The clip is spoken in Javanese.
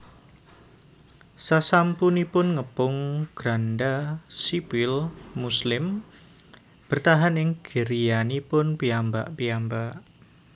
Sasampunipun ngepung Granda sipil muslim bertahan ing griyanipun piyambak piyambak